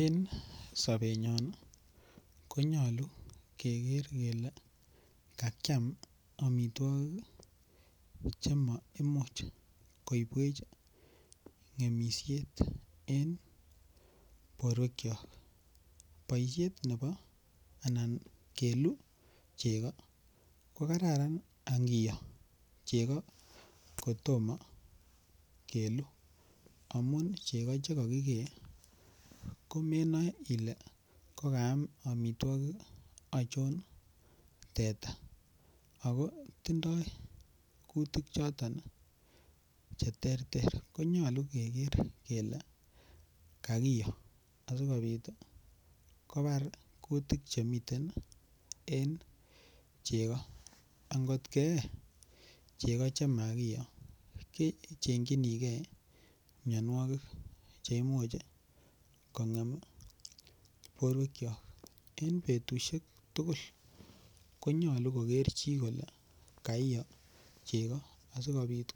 En sobenyon ko nyolu keger kele kakiam amitwogik Che maimuch koibwech ngemisiet en borwekyok boisiet nebo keluu chego ko Kararan angiyoo chego kotomo keluu amun chego Che kakigee ko menoe ile kokaam amitwogik achon teta ago tindoi kutik Che terter ko nyolu keger kele kakiyoo asikobit kobar kutik Che miten en chego angot keyee chego chema kiyoo kechengchinige mianwogik Che Imuch borwekyok en betusiek ko nyolu koger chi kole kaiyo chego asikobit